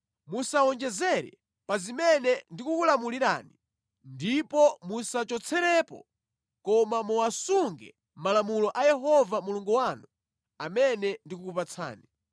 Musawonjezere pa zimene ndikukulamulirani ndipo musachotserepo, koma muwasunge malamulo a Yehova Mulungu wanu amene ndikukupatsani.